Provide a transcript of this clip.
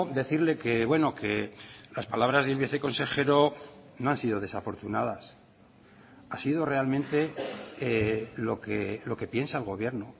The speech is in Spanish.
decirle que bueno que las palabras del viceconsejero no han sido desafortunadas ha sido realmente lo que piensa el gobierno